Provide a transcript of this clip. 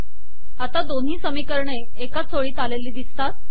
आता दोन्ही समीकरणे एकाच ओळीत आलेली दिसतात